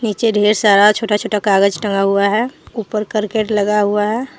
नीचे ढ़ेर सारा छोटा छोटा कागज टंगा हुआ है ऊपर करकट लगा हुआ है।